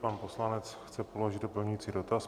Pan poslanec chce položit doplňující dotaz.